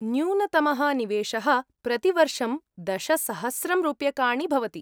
न्यूनतमः निवेशः प्रतिवर्षं दशसहस्रं रूप्यकाणि भवति।